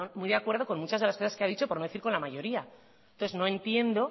muy de acuerdo con muchas de las cosas que ha dicho por no decir con la mayoría entonces no entiendo